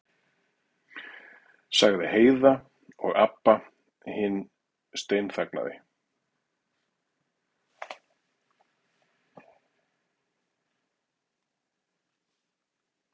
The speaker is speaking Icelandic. sagði Heiða og Abba hin steinþagnaði.